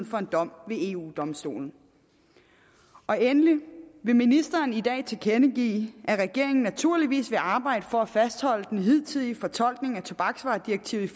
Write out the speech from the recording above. for en dom ved eu domstolen og endelig vil ministeren i dag tilkendegive at regeringen naturligvis vil arbejde for at fastholde den hidtidige fortolkning af tobaksvaredirektivet